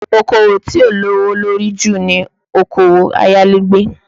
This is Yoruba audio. Okòwò tí ó lówó lórí jù ni Okòwò ayálégbé